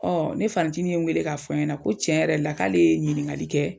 ne fanicini ye n weele k'a fɔ n ɲɛna ko tiɲɛ yɛrɛ la k'ale ye ɲiniŋali kɛ